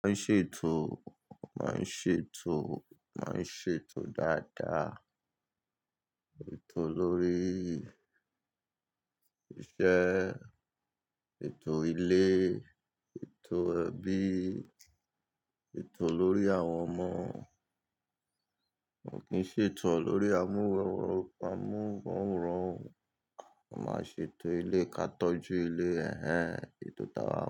Wọ́n ń ṣètò, wọ́n ń ṣètò, wọ́n ń ṣètò dáadáa. Ètò lórí iṣẹ́, ètò ilé, ètò ẹbí, ètò lórí àwọn ọmọ. Wọn kì í ṣètò lórí amúhuwọ, amúhuwọ rán. Wọ́n máa ṣètò ilé ká tọ́jú ilé. Ẹ̀hẹn, ètò táa.